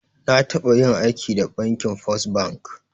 Na taba yin aiki da bankin First Bank.